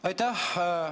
Aitäh!